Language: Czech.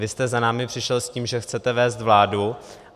Vy jste za námi přišel s tím, že chcete vést vládu.